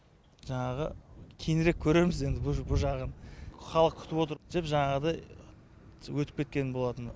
жаңағы кейінірек көрерміз енді бұ бұ жағын халық күтіп отыр деп жаңағыдай өтіп кеткен болатын